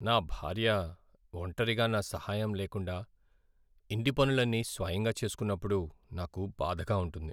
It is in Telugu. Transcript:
నా భార్య ఒంటరిగా నా సహాయం లేకుండా ఇంటి పనులన్నీ స్వయంగా చేసుకున్నప్పుడు నాకు బాధగా ఉంటుంది.